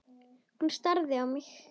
Hún starði á mig.